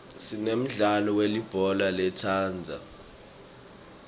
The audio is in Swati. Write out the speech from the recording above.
sinemdlalo welibhola letandza